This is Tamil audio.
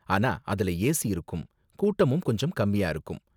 ஆனா அதுல ஏசி இருக்கும், கூட்டமும் கொஞ்சம் கம்மியா இருக்கும்.